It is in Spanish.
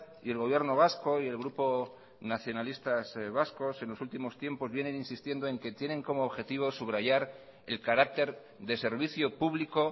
y el gobierno vasco y el grupo nacionalistas vascos en los últimos tiempos vienen insistiendo en que tienen como objetivo subrayar el carácter de servicio público